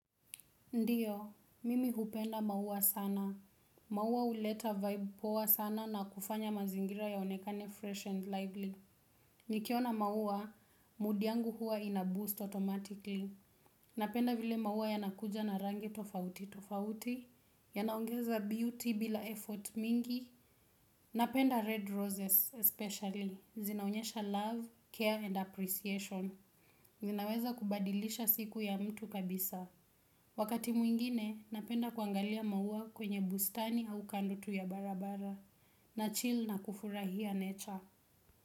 Ndiyo, mimi hupenda maua sana. Maua huleta vibe poa sana na kufanya mazingira yaonekane fresh and lively. Nikiona maua, mood yangu hua ina boost automatically. Napenda vile maua yanakuja na rangi tofauti tofauti. Yanaongeza beauty bila effort mingi. Napenda red roses especially. Zinaonyesha love, care and appreciation. Zinaweza kubadilisha siku ya mtu kabisa. Wakati mwingine napenda kuangalia maua kwenye bustani au kando tu ya barabara na chill na kufurahia nature.